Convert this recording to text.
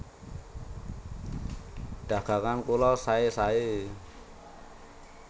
Dagangan kula saé saé